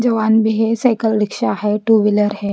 जवान भी है साइकिल रिक्शा है टू व्हीलर है--